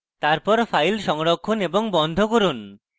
তারপর files সংরক্ষণ এবং বন্ধ করুন